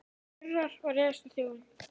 Hann urrar og ræðst á þjófinn.